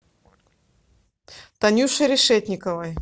танюши решетниковой